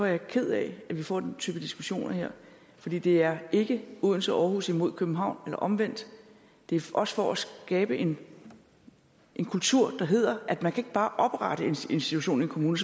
jeg ked af at vi får den type diskussioner her for det det er ikke odense og aarhus imod københavn eller omvendt det er også for at skabe en en kultur der hedder at man ikke bare kan oprette en institution i en kommune